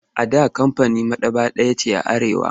A da kamfanin maɗaba'a ɗaya ce a Arewa.